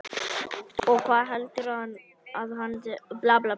Og hvar heldurðu að hann sé þá núna?